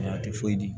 Nka a tɛ foyi di